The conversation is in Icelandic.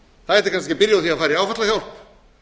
það ætti kannski að fara í áfallahjálp